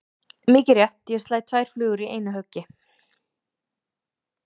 Mikið rétt, ég slæ tvær flugur í einu höggi.